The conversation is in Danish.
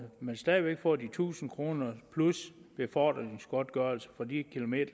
man stadig væk får de tusind kroner plus befordringsgodtgørelse for de kilometer